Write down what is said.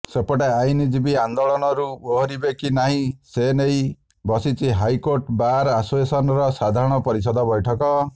ସେପଟେ ଆଇନଜୀବୀ ଆନ୍ଦୋଳନରୁ ଓହରିବେ କି ନାହିଁ ସେନେଇ ବସିଛି ହାଇକୋର୍ଟ ବାର୍ ଆସୋସିଏସନ୍ର ସାଧାରଣ ପରିଷଦ ବୈଠକ